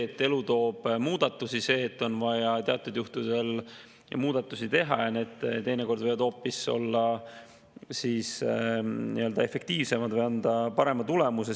Aga elu toob muudatusi, teatud juhtudel on vaja muudatusi teha ja need teinekord võivad olla hoopis efektiivsemad ja anda parema tulemuse.